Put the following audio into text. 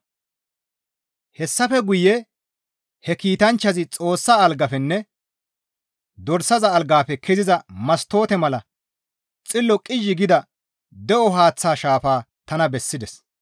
Hessafe guye he kiitanchchazi Xoossa algafenne Dorsaza algaafe keziza mastoote mala xillo qizhzhi gida de7o haaththa shaafa tana bessides.